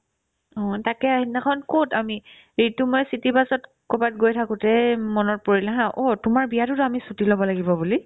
অ, তাকে সেইদিনাখন ক'ত আমি এইটো মই city bus ত ক'ৰবাত গৈ থাকোতে মনত পৰিলে haa অ' তোমাৰ বিয়াতোতো আমি ছুটি ল'ব লাগিব বুলি